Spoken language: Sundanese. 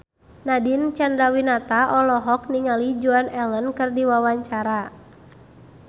Nadine Chandrawinata olohok ningali Joan Allen keur diwawancara